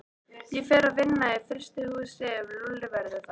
Ég fer að vinna í frystihúsi ef Lúlli verður þar.